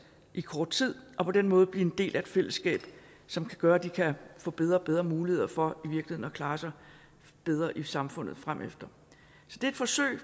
i kort tid og på den måde blive en del af et fællesskab som kan gøre at de kan få bedre og bedre muligheder for at klare sig bedre i samfundet fremefter så det er et forsøg